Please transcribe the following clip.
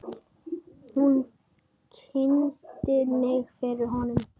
Hún kynnti mig fyrir honum.